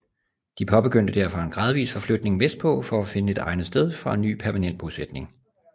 De påbegyndte derfor en gradvis forflytning vestpå for at finde et egnet sted for en ny permanent bosætning